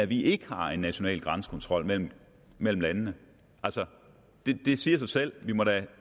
vi ikke har en national grænsekontrol mellem mellem landene altså det siger sig selv vi må da